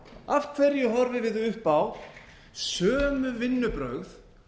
af hverju horfum við upp á sömu vinnubrögð